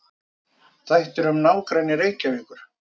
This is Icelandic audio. Þættir um nágrenni Reykjavíkur.